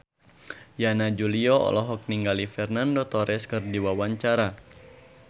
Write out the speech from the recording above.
Yana Julio olohok ningali Fernando Torres keur diwawancara